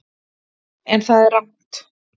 En það er rangt.